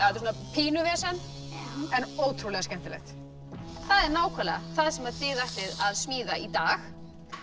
pínu vesen en ótrúlega skemmtilegt það er nákvæmlega það sem þið ætlið að smíða í dag